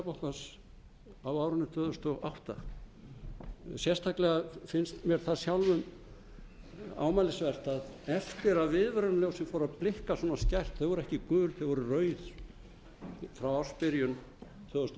seðlabankans á árinu tvö þúsund og átta sérstaklega finnst mér það sjálfum ámælisvert að eftir að viðvörunarljósin fóru að blikka svona skært þau voru ekki gul þau voru rauð frá ársbyrjun tvö þúsund